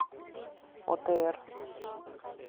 отр